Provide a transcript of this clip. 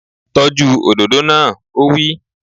Tọ́jú òdòdó náà! Ó wí